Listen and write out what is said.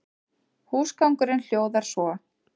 Húsgangurinn hljóðar svo